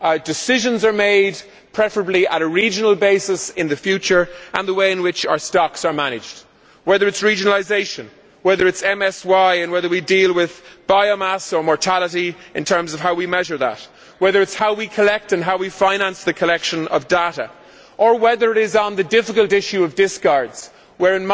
decisions are made, preferably at a regional basis in the future, and the way in which our stocks are managed whether by regionalisation, whether by MSY and whether we look at biomass or mortality in measuring that, whether it is how we collect and how we finance the collection of data, or whether it is on the difficult issue of discards where